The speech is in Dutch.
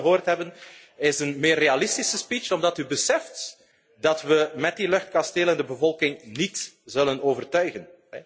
Wat we wel gehoord hebben is een meer realistische speech, omdat u beseft dat we met die luchtkastelen de bevolking niet zullen overtuigen.